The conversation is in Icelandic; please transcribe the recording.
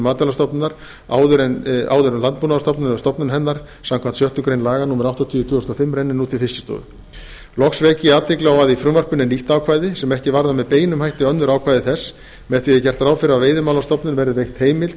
matvælastofnunar áður landbúnaðarstofnunar við stofnun hennar samkvæmt sjöttu grein laga númer áttatíu tvö þúsund og fimm renni nú til fiskistofu loks vek ég athygli á að í frumvarpinu er nýtt ákvæði sem ekki varðar með beinum hætti önnur ákvæði þess með því er gert ráð fyrir að veiðimálastofnun verði veitt heimild